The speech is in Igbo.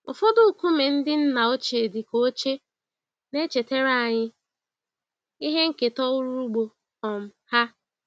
Ụfọdụ nkume ndị nna ochie dị ka oche, na-echetara anyị ihe nketa ọrụ ugbo um ha.